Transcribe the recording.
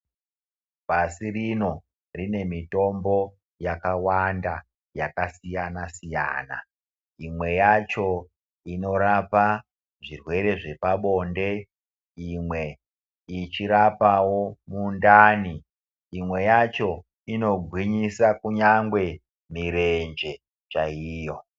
Pasi rino rine mitombo yakawanda yakasiyana siyana imwe yacho inorapa zvirwere zvepabonde imwe ichirapawo mundani imwe yacho inogwinyisa kunyangwe mirenje chaiyo.